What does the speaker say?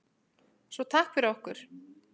Svo takk fyrir okkur.